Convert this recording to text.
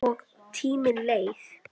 Og tíminn leið.